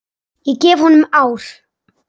Ég gef honum ár.